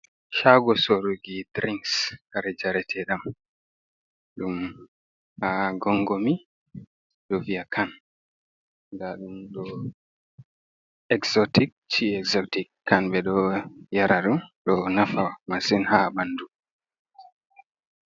Shago soruki dirings kare njarate ɗam ɗum haa gongomi, do vi'a kan. Ɗa ɗum ɗo exotic ci exotic kan, ɓe ɗo yara ɗum ɗo nafa masin haa ɓandu.